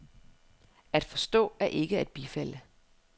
At forstå er ikke at bifalde.